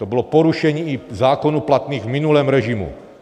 To bylo porušení i zákonů platných v minulém režimu.